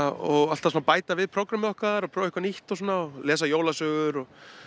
og alltaf svona bæta við prógrammið okkar og prófa eitthvað nýtt og svona lesa jólasögur og